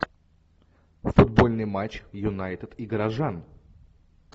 футбольный матч юнайтед и горожан